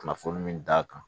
Kunnafoni min d'a kan